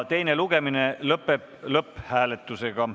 Teine lugemine lõpeb lõpphääletusega.